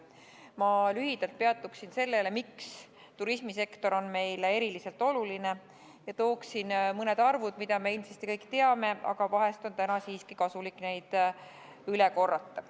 Ma lühidalt peatun sellel, miks turismisektor on meile eriliselt oluline, ja toon mõned arvud, mida me ilmselt kõik teame, aga vahest on täna siiski kasulik neid üle korrata.